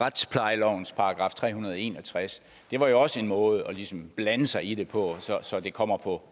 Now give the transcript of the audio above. retsplejelovens § tre hundrede og en og tres det var jo også en måde ligesom at blande sig i det på så det kommer på